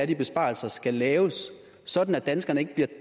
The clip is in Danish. de besparelser skal laves sådan at danskerne ikke bliver